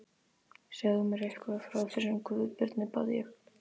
Segðu mér eitthvað frá þessum Guðbirni, bað ég.